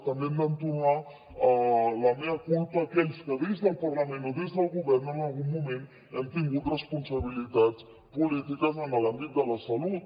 també hem d’entonar el mea culpa aquells que des del parlament o des del govern en algun moment hem tingut responsabilitats polítiques en l’àmbit de la salut